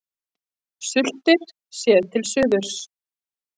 Sultir, séð til suðurs.